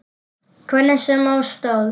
Hvernig sem á stóð.